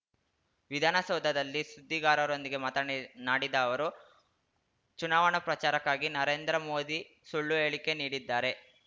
ವಿಧಾನಸೌಧದಲ್ಲಿ ಸುದ್ದಿಗಾರರೊಂದಿಗೆ ಮಾತನ್ನ ನಾಡಿದ ಅವರು ಚುನಾವಣಾ ಪ್ರಚಾರಕ್ಕಾಗಿ ನರೇಂದ್ರ ಮೋದಿ ಸುಳ್ಳು ಹೇಳಿಕೆ ನೀಡಿದ್ದಾರೆ